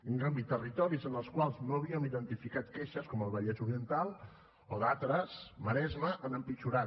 en canvi territoris en els quals no havíem identificat queixes com el vallès oriental o d’altres el maresme han empitjorat